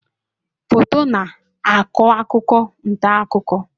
Foto na-akọ akụkọ na ntaakuko.